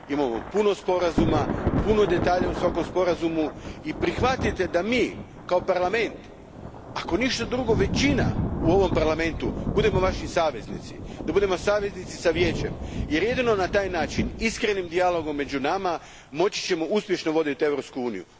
Imamo puno sporazuma, puno detalja u svakom sporazumu i prihvatite da mi kao Parlament, ako ništa drugo većina u ovom Parlamentu, budemo Vaši saveznici, da budemo saveznici s Vijećem jer ćemo jedino na taj način, iskrenim dijalogom među nama, moći uspješno voditi Europsku uniju.